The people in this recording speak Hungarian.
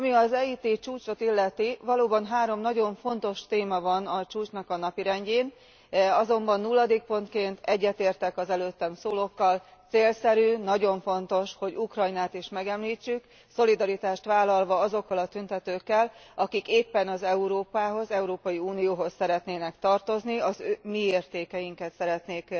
Ami az ET csúcsot illeti, valóban három nagyon fontos téma van a csúcs napirendjén, azonban nulladik pontként egyetértek az előttem szólókkal célszerű, nagyon fontos, hogy Ukrajnát is megemlítsük, szolidaritást vállalva azokkal a tüntetőkkel, akik éppen az Európához, Európai Unióhoz szeretnének tartozni, a mi értékeinket szeretnék